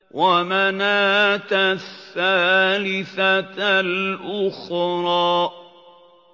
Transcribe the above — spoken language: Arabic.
وَمَنَاةَ الثَّالِثَةَ الْأُخْرَىٰ